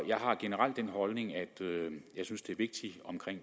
jeg har generelt den holdning at jeg synes det er vigtigt